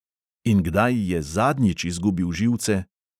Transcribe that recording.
In kdaj je zadnjič izgubil živce?